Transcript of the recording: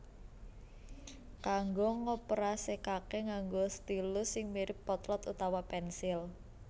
Kanggo ngoperasekake nganggo stylus sing mirip potlot utawa pensil